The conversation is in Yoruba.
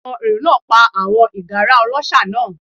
Àwọn èrò náà pa àwọn ìgárá ọlọ́ṣà náà.